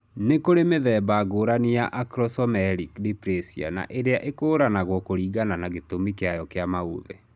Nĩ kũrĩ mĩthemba ngũrani ya acromesomelic dysplasia na ĩrĩa ĩkũranagwo kũringana na gĩtũmi kĩayo kĩa maũthĩ